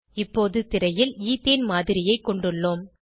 இப்போது திரையில் ஈத்தேன் மாதிரியைக் கொண்டுள்ளோம்